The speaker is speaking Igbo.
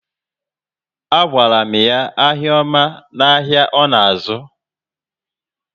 A gwara m ya ahịa oma na áhiá ọ na azu